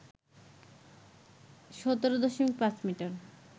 ১৭.৫ metre